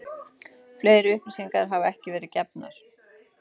Fleiri upplýsingar hafa ekki verið gefnar